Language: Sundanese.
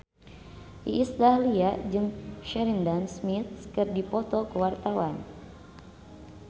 Iis Dahlia jeung Sheridan Smith keur dipoto ku wartawan